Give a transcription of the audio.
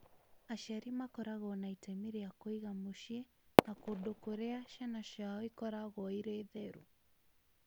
Aciari makoragwo na itemi rĩa kũiga mũciĩ na kũndũ kũrĩa ciana ciao ikoragwo irĩ theru